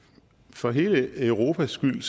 for hele europas skyld